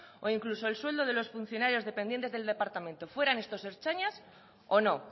o incluso el sueldo de los funcionarios dependientes del departamento fueran estos ertzainas o no